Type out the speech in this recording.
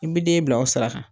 I bɛ den bila o sira kan